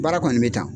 Baara kɔni bɛ tan